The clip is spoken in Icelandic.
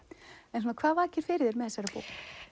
en hvað vakir fyrir þér með þessari bók